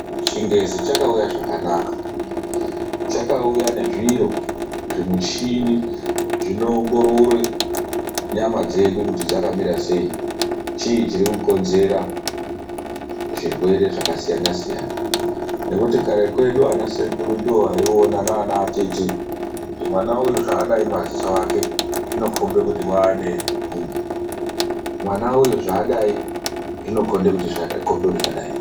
Chingezi chakauya zvakanaka. Chakauya ne zviro zvimuchhini zvinoongorore nyama dzedu kuti dzakamira sei, chii chiri kukonzera zvirwere zvakasiyana - siyana? Ngekuti kare kwedu ana Sekuru ndivo vaiona nana atete kuti mwana uyu zvaadai madziso ake zvinokhomba kuti waane nhmbu, mwana uyu zvakadai zvinokhomba kuti zvadai.